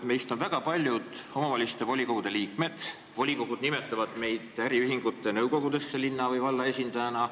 Meist on väga paljud omavalitsuste volikogude liikmed, volikogud nimetavad meid äriühingute nõukogudesse linna või valla esindajana.